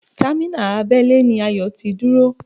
Támínà abẹ́lé ni Ayọ̀ ti dúró